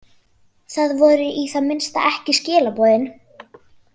Það voru í það minnsta ekki skilaboðin.